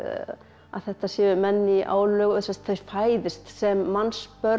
að þetta séu menn í álögum sem sagt þeir fæðist sem